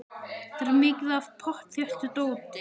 Það er mikið af pottþéttu dóti.